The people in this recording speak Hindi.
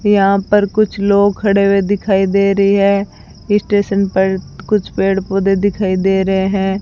यहां पर कुछ लोग खडे हुए दिखाई दे रहे है स्टेशन पर कुछ पेड़ पौधे दिखाई दे रहे है।